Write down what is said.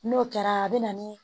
N'o kɛra a bɛ na ni